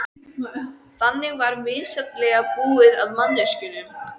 Þannig var misjafnlega búið að manneskjunum.